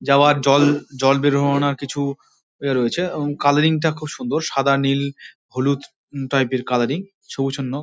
জয়ার জল বেরোনোর কিছু এইযে রয়েছে কালারিং তা খুব সুন্দর সাদা নীল হলুদ টাইপ এর কালারিং ।